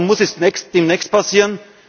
Warum muss es demnächst passieren?